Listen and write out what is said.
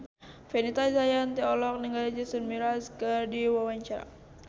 Fenita Jayanti olohok ningali Jason Mraz keur diwawancara